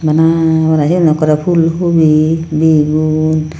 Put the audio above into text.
bana bana syen okkorey ful hobi bigun.